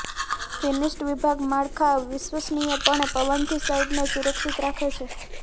finished વિભાગીય માળખાં વિશ્વસનીયપણે પવનથી સાઇટને સુરક્ષિત રાખે છે